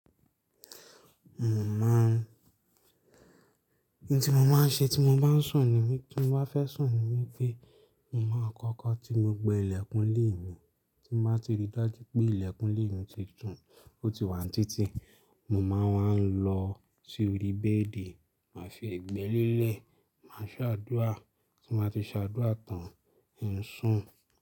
Mo máa n, ohun tí mo máa ń ṣe tí mo bá ń sùn ni mí, tí mo bá fẹ́ sùn ni wí pé, mo máa kọ́kọ́ tí gbogbo ilẹ̀kùn ilé mi, tí mo bá ti ríi dájú pé ilẹ̀kùn lé mi ti tún, ó ti wà ní títì, mo máa ń wá lọ sí orí bẹ́ẹ̀dì, màá fi egbẹ lélẹ̀, màá ṣe àdúrà, tí n ba ti ṣàdúrà tán, ń sùn.